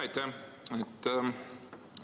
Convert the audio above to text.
Aitäh!